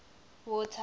water